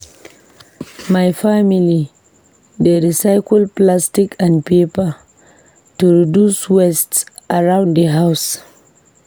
My family dey recycle plastic and paper to reduce waste around the house.